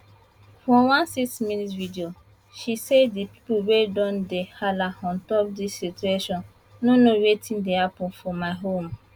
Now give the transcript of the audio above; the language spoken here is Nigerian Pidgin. for one six minute video she say di pipo wey don dey hala on top dis situation no know wetin dey happun for my home